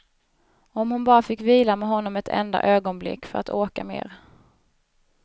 Om hon bara fick vila med honom ett enda ögonblick, för att orka mera.